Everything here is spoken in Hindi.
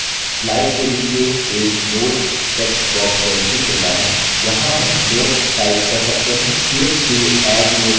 slide के नीचे एक notes text box प्रदर्शित होता है यहाँ हम notes type कर सकते हैं